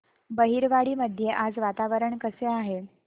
बहिरवाडी मध्ये आज वातावरण कसे आहे